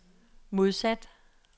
modsat